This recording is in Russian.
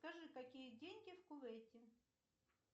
скажи какие деньги в кувейте